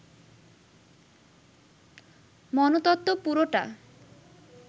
মনতত্ত্ব পুরোটা